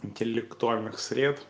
интеллектуальных сред